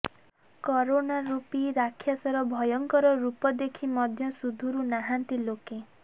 corona ରୂପି ରାକ୍ଷାସର ଭୟଙ୍କର ରୂପ ଦେଖି ମଧ୍ୟ ସୁଧୁରୁ ନାହାନ୍ତି ଲୋକେ